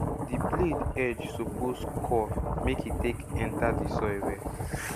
di blade edge suppose curve make e take enta di soil well